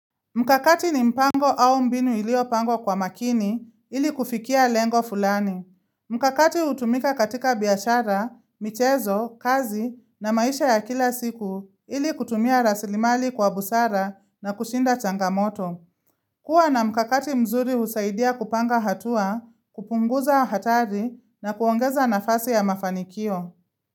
Mkakati ni mpango au mbinu iliyopangwa kwa makini ili kufikia lengo fulani. Mkakati hutumika katika biashara, michezo, kazi na maisha ya kila siku ili kutumia rasilimali kwa busara na kushinda changamoto. Kuwa na mkakati mzuri husaidia kupanga hatua, kupunguza hatari na kuongeza nafasi ya mafanikio.